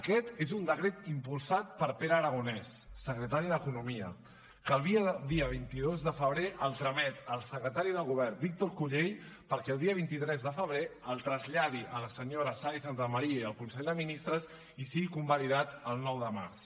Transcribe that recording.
aquest és un decret impulsat per pere aragonès secretari d’economia que el dia vint dos de febrer el tramet al secretari del govern víctor cullell perquè el dia vint tres de febrer el traslladi a la senyora saénz de santamaría i al consell de ministres i sigui convalidat el nou de març